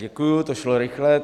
Děkuji, to šlo rychle.